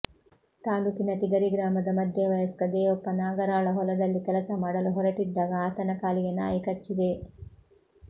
ತಾಲೂಕಿನ ತಿಗರಿ ಗ್ರಾಮದ ಮಧ್ಯ ವಯಸ್ಕ ದೇವಪ್ಪ ನಾಗರಾಳ ಹೊಲದಲ್ಲಿ ಕೆಲಸ ಮಾಡಲು ಹೊರಟಿದ್ದಾಗ ಆತನ ಕಾಲಿಗೆ ನಾಯಿ ಕಚ್ಚಿದೆ